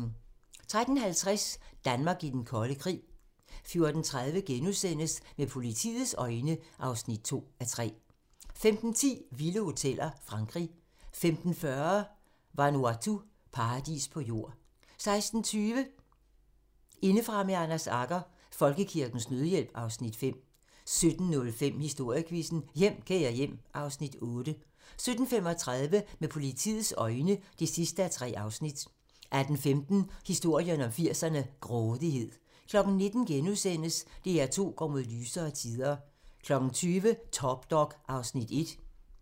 13:50: Danmark i den kolde krig 14:30: Med politiets øjne (2:3)* 15:10: Vilde hoteller - Frankrig 15:40: Vanuatu - paradis på jord 16:20: Indefra med Anders Agger - Folkekirkens Nødhjælp (Afs. 5) 17:05: Historiequizzen: Hjem, kære hjem (Afs. 8) 17:35: Med politiets øjne (3:3) 18:15: Historien om 80'erne: Grådighed 19:00: DR2 går mod lysere tider * 20:00: Top Dog (Afs. 1)